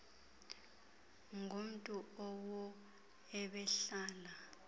ngumntu owo ebehlala